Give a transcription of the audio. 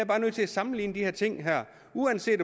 bare nødt til at sammenligne de her ting